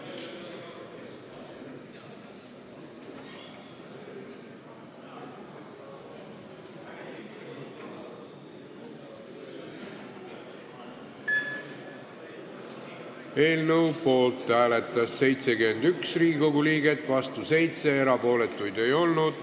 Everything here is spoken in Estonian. Hääletustulemused Eelnõu poolt hääletas 71 Riigikogu liiget, vastu 7, erapooletuid ei olnud.